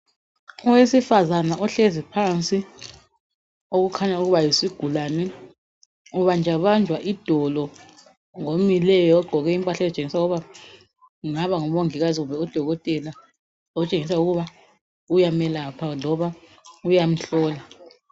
Owesifazana ohlezi phansi okukhanya ukuba yisigulane ubanjwabanjwa idolo ngomileyo okutshengisa ukuthi engaba ngudokotela loba umongikazi okutshengisa ukuthi uyamelapha loba uyamhlola.